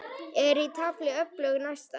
Er í tafli öflug næsta.